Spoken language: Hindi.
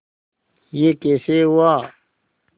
यह कैसे हुआ